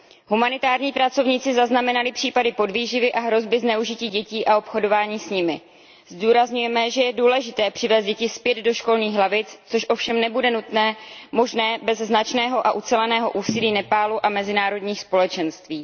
Humanitární pracovníci zaznamenali případy podvýživy a hrozby zneužití dětí a obchodování s nimi. Zdůrazňujeme, že je důležité přivést děti zpět do školních lavic, což ovšem nebude možné bez značného a uceleného úsilí Nepálu a mezinárodních společenství.